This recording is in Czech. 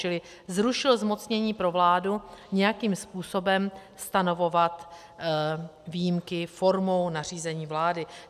Čili zrušil zmocnění pro vládu nějakým způsobem stanovovat výjimky formou nařízení vlády.